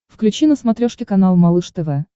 включи на смотрешке канал малыш тв